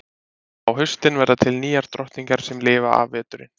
Á haustin verða til nýjar drottningar sem lifa af veturinn.